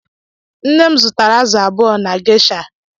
nne m zụtara azụ abuo na geisha